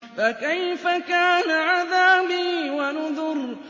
فَكَيْفَ كَانَ عَذَابِي وَنُذُرِ